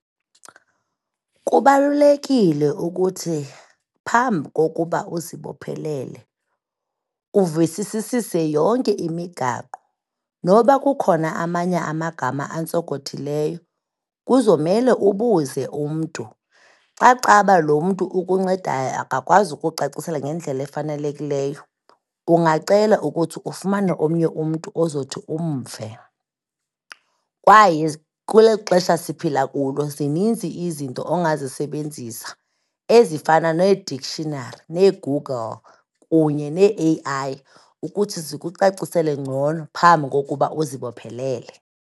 Kubalulekile ukuthi phambi kokuba uzibophelele uvisisisise yonke imigaqo, noba kukhona amanye amagama antsokothileyo kuzomele ubuze umntu. Xa kucaba lo mnto ukuncedayo akakwazi ukucacisela ngendlela efanelekileyo, ungacela ukuthi ufumane omnye umntu ozothi umve. Kwaye kuleli xesha siphila kulo zininzi izinto ongazisebenzisa ezifana neeDictionary, neeGoogle kunye neeAI ukuthi zikucacisele ngcono phambi kokuba uzibophelele.